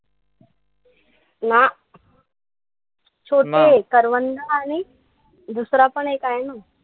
ना छोटे. करवंद आणि दुसरा पण एक आहे ना.